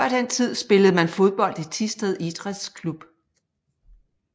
Før den tid spillede man fodbold i Thisted Idræts Klub